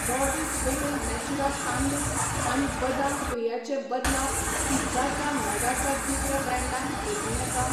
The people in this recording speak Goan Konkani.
बोर्जेस वेगन नेचुरा तांदूळ आनी बदाम पेया चे बदला पिझ्झाच्या नगा च्या दुसऱ्या ब्रँडान बदलूं येता?